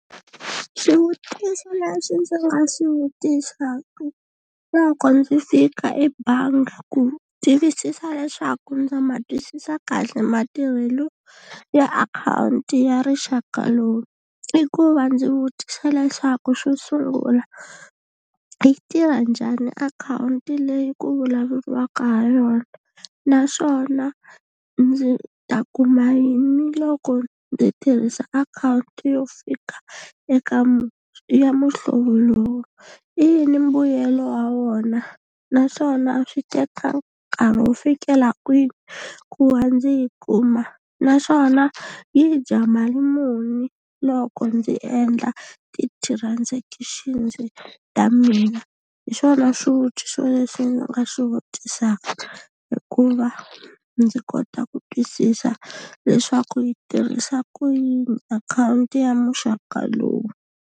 Swivutiso leswi ndzi nga swi vutisaku loko ndzi fika ebangi ku tivisisa leswaku ndza ma twisisa kahle matirhelo ya akhawunti ya rixaka lowu. I ku va ndzi vutisa leswaku xo sungula yi tirha njhani akhawunti leyi ku vulavuriwaka ha yona, naswona ndzi ta kuma yini loko ndzi tirhisa akhawunti yo fika eka ya muhlovo lowu, i yini mbuyelo wa wona naswona swi teka nkarhi wo fikela kwini ku va ndzi yi kuma, naswona yi dya mali muni loko ndzi endla ti-transaction ta mina, hi swona swivutiso leswi ndzi nga swi vutisaka hikuva ndzi kota ku twisisa leswaku yi tirhisa ku yini akhawunti ya muxaka lowu.